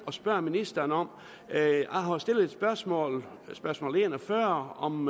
og spørge ministeren om jeg har jo stillet et spørgsmål spørgsmål nummer en og fyrre om